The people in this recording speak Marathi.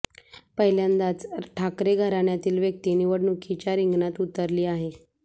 पहिल्यांदाच ठाकरे घराण्यातील व्यक्ती निवडणुकीच्या रिंगणात उतरली आहे